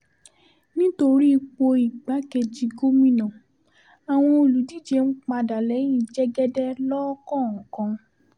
nítorí ipò igbákejì gómìnà àwọn olùdíje ń padà lẹ́yìn jẹ́gẹ́dẹ́ lọ́kọ̀ọ̀kan